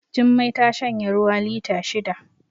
Jummai ta shanye ruwa lita shida